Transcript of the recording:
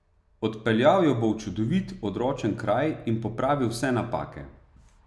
Odpeljal jo bo v čudovit, odročen kraj in popravil vse napake.